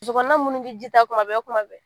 Muso kɔnɔma minnu bɛ ji ta tuma bɛɛ tuma bɛɛ